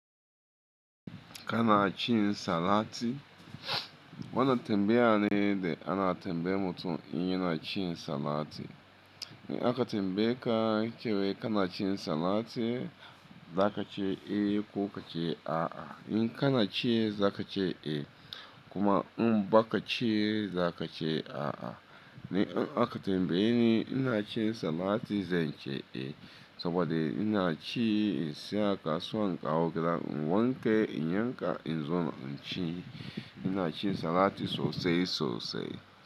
Ka na cin salad? Wannan tambaye ne da ana tambayan mutum in yana cin salad. In a ka tambaye ka cewa ka na ci salad, za ka ce eh ko ka ce a a. In ka na ci za ka ce eh kuma in ba ka ci za ka ce a a. Ni in aka tambayeni ina ci salad zan ce eh saboda ina ci in sayo a kasuwa in kawo gidan. Wanke in yanka in zo na ci. Ina ci salad sosai sosai.